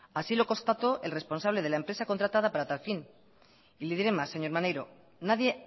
así lo constató el responsable de la empresa contratado para tal fin y le diré más señor maneiro nadie